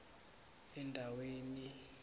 endwani